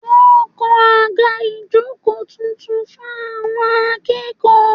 Wọ́n ń kan àga ìjókòó tuntun fún àwọn akẹ́kọ̀ọ́